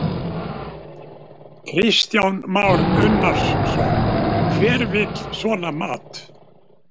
Kristján Már Unnarsson: Hver vill svona mat?